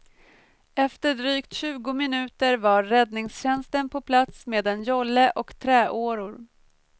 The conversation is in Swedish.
Efter drygt tjugo minuter var räddningstjänsten på plats med en jolle och träåror.